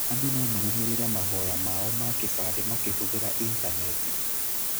Andũ no marũmĩrĩre mahoya ma o ma kĩbandĩ makĩhũthĩra initaneti.